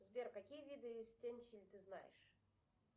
сбер какие виды ты знаешь